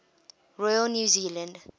royal new zealand